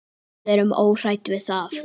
Við erum óhrædd við það.